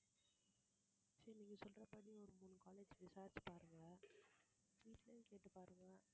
சரி நீங்க சொல்ற மாதிரி ஒரு மூணு college விசாரிச்சு பாருங்க வீட்டுலயும் கேட்டு பாருங்க